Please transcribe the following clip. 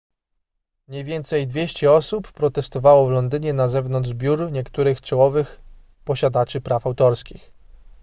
mniej więcej 200 osób protestowało w londynie na zewnątrz biur niektórych czołowych posiadaczy praw autorskich